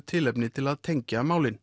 tilefni til að tengja málin